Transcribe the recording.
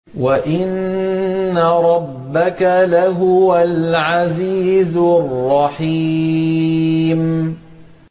وَإِنَّ رَبَّكَ لَهُوَ الْعَزِيزُ الرَّحِيمُ